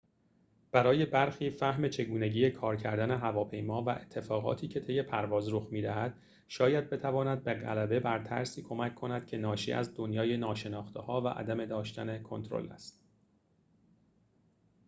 برای برخی فهم چگونگی کار کردن هواپیما و اتفاقاتی که طی پرواز رخ می‌دهد شاید بتواند به غلبه بر ترسی کمک کند که ناشی از دنیای ناشناخته‌ها و عدم داشتن کنترل است